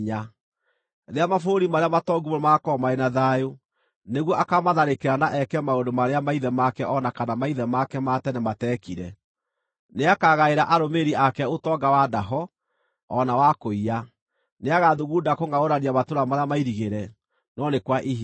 Rĩrĩa mabũrũri marĩa matongu mũno magakorwo marĩ na thayũ, nĩguo akaamatharĩkĩra na eke maũndũ marĩa maithe make o na kana maithe make ma tene matekire. Nĩakagaĩra arũmĩrĩri ake ũtonga wa ndaho, o na wa kũiya. Nĩagathugunda kũngʼaũrania matũũra marĩa mairigĩre, no nĩ kwa ihinda.